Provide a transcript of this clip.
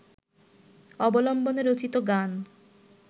অবলম্বনে রচিত গান